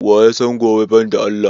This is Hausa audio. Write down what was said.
Waya san gobe ban da Allah?